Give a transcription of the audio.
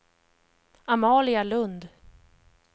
Amalia Lundh